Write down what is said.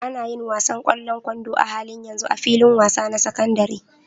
Ana yin wasan ƙwallon kwando a halin yanzu a filin wasa na sakandaren.